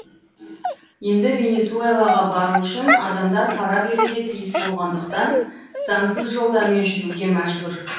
енді венесуэлаға бару үшін адамдар пара беруге тиіс болғандықтан заңсыз жолдармен жүруге мәжбүр